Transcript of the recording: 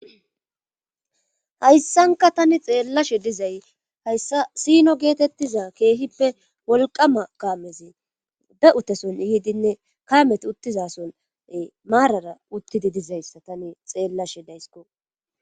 Hayssanka tani xeellashe dizay hayssa sino geetettiza keehippe wolqama kaamezi be utteson yiidinne kaameti uttizasone maarara uttidi dizayssa tani xeellashe daysko.